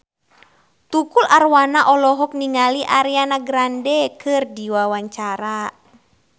Tukul Arwana olohok ningali Ariana Grande keur diwawancara